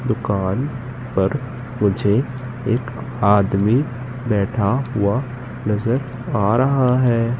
दुकान पर मुझे एक आदमी बैठा हुआ नजर आ रहा हैं।